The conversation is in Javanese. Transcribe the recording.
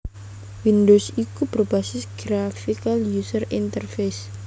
Windows iku berbasis Graphical User Interface